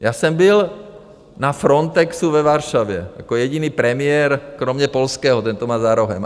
Já jsem byl na Frontexu ve Varšavě jako jediný premiér, kromě polského, ten to má za rohem.